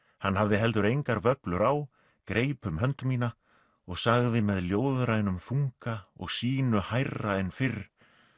hann hafði heldur engar vöflur á greip um hönd mína og sagði með ljóðrænum þunga og sýnu hærra en fyrr